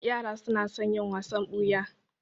Yara su na son yin wasan ɓuya